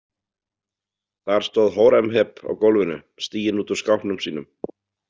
Þar stóð Hóremheb á gólfinu, stiginn út úr skápnum sínum.